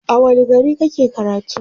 a wani gari kake karatu?